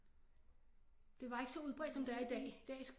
Det var ikke så udbredt som det er i dag i dag